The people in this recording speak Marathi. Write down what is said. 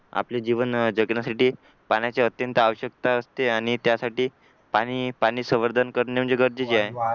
आपले जीवन जगण्यासाठी पाण्याचे अत्यंत आवश्यकता असते आणि त्यासाठी पाणी पाणी संवर्धन करणे म्हणजे गरजेचे आहे